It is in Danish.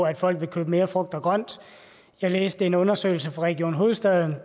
at folk vil købe mere frugt og grønt jeg læste en undersøgelse fra region hovedstaden